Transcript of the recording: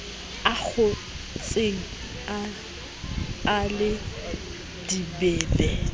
a kgohletse a le dibebe